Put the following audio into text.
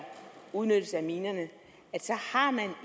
udnyttelsen af minerne